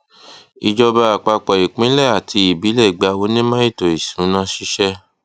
ìjọba àpapọ ìpínlẹ àti ìbílẹ gba onímò ètò ìsúná ṣíṣẹ